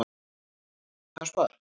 Harpa